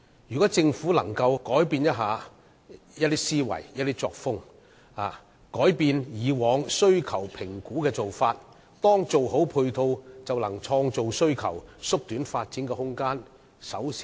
如果政府可以改變其思維和作風，改變以往需求評估的做法，當配套做好後，便可創造需求，縮短發展時間。